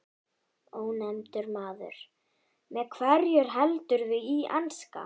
Ónefndur maður: Með hverjum heldurðu í enska?